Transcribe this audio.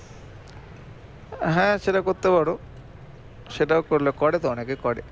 হ্যাঁ সেটা করতে পারো সেটাও করলে করে তো অনেকে করে